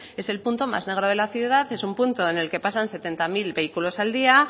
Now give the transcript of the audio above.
es el punto más negro de la ciudad y en un punto en el que pasan setenta mil vehículos al día